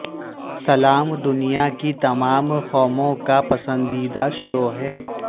سلام دنیا کی تمام قوموں کا پسندیدہ شو ہے